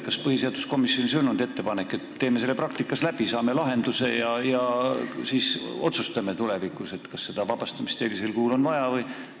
Kas põhiseaduskomisjonis ei tehtud ettepanekut, et teeme selle lahenduse saamiseks praktikas läbi ja tulevikus otsustame, kas seda vabastamist on sellisel kujul vaja?